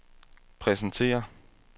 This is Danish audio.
præsenterer